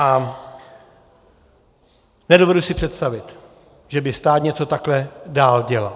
A nedovedu si představit, že by stát něco takhle dál dělal.